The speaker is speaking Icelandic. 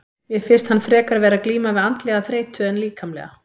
Mér finnst hann frekar vera að glíma við andlega þreytu en líkamlega.